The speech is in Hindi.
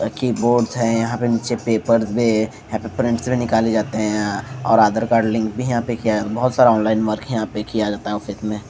रखी बोर्डज हैं यहाँ पे नीचे पेपर्स पे यहाँ पे प्रिंट्स भी निकाले जाते हैं और आधार कार्ड लिंक भी यहाँ पे किया बहोत सारा ऑनलाइन वर्क यहाँ पे किया जाता हैं ऑफिस मे--